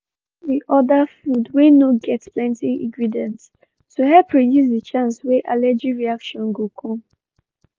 he been order food wey get no get plenty ingredients to help reduce the chance wey allergy reaction go come